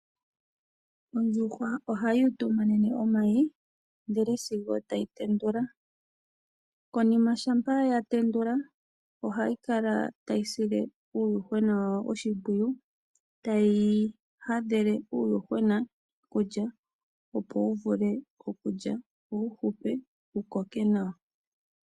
Ondjuhwa ohayi utumanene omayi sigo tayi tendula. Konima ngele yatendula ohayi kala tayi sile uuyuhwena wayo oshimpwiyu, tayi hadhele uuyuhwena okulya , opo wuvule okulya, opo wuhupe wuvule wukoke nawa.